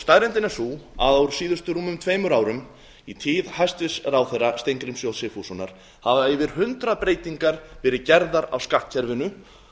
staðreyndin er sú að á síðustu rúmum tveimur árum í tíð hæstvirtur ráðherra steingríms j sigfússonar hafa yfir hundrað breytingar verið gerðar á skattkerfinu